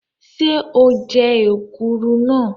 Ṣé o jẹ́ èkuru lánàá?